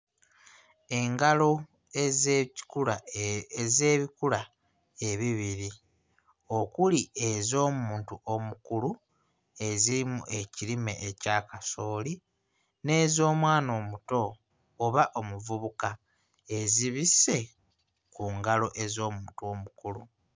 Engalo ez'ekikula ez'ebikula ebibiri okuli ez'omuntu omukulu ezirimu ekirime ekya kasooli n'ez'omwana omuto oba omuvubuka ezibisse ku ngalo ez'omuntu omukulu.